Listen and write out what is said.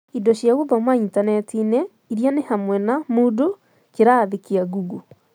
Indo cia gũthoma intaneti-inĩ irĩa nĩ hamwe na, Moodle, kĩrathi kĩa Google.